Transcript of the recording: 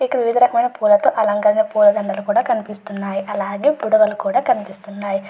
ఇక్కడ వివిధ రకమైన పూల అలంకరించిన పూలదండలు కూడా కనిపిస్తున్నాయి. అలాగే బుడగలు కూడా కనిపిస్తున్నాయి.